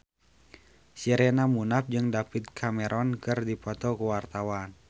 Sherina Munaf jeung David Cameron keur dipoto ku wartawan